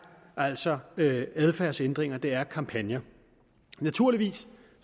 altså adfærdsændringer det er kampagner naturligvis